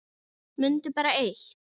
Mundu bara eitt.